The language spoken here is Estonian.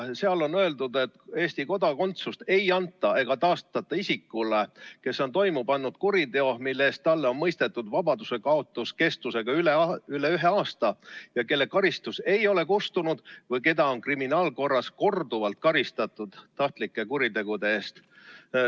Seal on öeldud, et Eesti kodakondsust ei anta ega taastata isikule, kes on toime pannud kuriteo, mille eest talle on mõistetud vabadusekaotus kestusega üle ühe aasta, ja kelle karistus ei ole kustunud või keda on kriminaalkorras korduvalt karistatud tahtlike kuritegude eest.